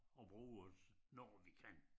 Og bruge det når vi kan